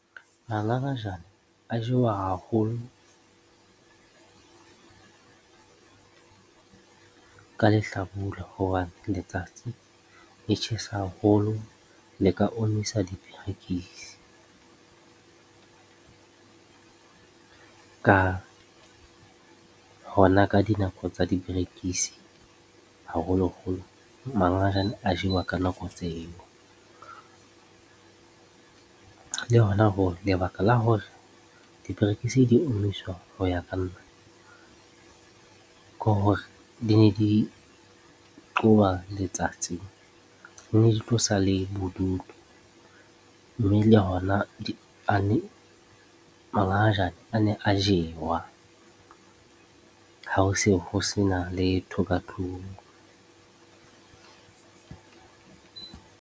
Mangangajane a jewa haholo ka lehlabula hobane letsatsi le tjhesa haholo le ka omisa diperekisi hona ka dinako tsa diperekisi, haholoholo mangajane a jewa ka nako tse eo le hona lebaka la hore diperekisi di omiswa ho ya ka nna, ke hore di ne di qoba letsatsi ne di tlosa le bodutu mme le hona mangangajane a ne a jewa ha ho se ho sena letho ka tlung.